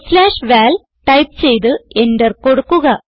val type ചെയ്ത് enter കൊടുക്കുക